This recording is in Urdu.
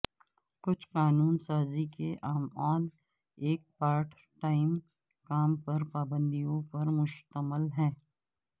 کچھ قانون سازی کے اعمال ایک پارٹ ٹائم کام پر پابندیوں پر مشتمل ہے